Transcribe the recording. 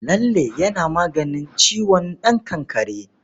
Lalle yana maganin ciwon ɗan kakkare.